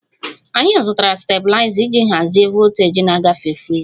Anyị zụtara stabiliza iji hazie voltaji na-agafe friza